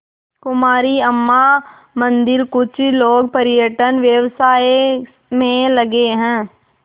कुमारी अम्मा मंदिरकुछ लोग पर्यटन व्यवसाय में लगे हैं